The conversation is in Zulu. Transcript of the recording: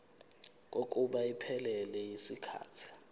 kokuba iphelele yisikhathi